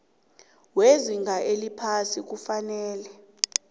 wezinga eliphasi kufanele